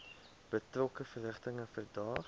betrokke verrigtinge verdaag